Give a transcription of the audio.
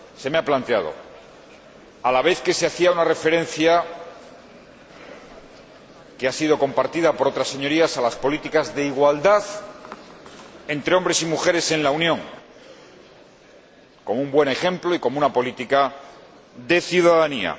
Se me ha planteado, a la vez que se hacía una referencia, que ha sido compartida por otras Señorías, a las políticas de igualdad entre hombres y mujeres en la Unión, como un buen ejemplo y como una política de ciudadanía.